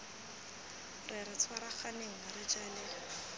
re re tshwaragane re jale